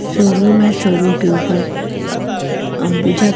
showroom है showroom के ऊपर अह अंबुजा--